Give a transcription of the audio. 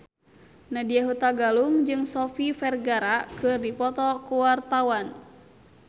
Nadya Hutagalung jeung Sofia Vergara keur dipoto ku wartawan